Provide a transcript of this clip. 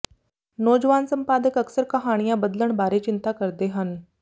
ਨੌਜਵਾਨ ਸੰਪਾਦਕ ਅਕਸਰ ਕਹਾਣੀਆਂ ਬਦਲਣ ਬਾਰੇ ਚਿੰਤਾ ਕਰਦੇ ਹਨ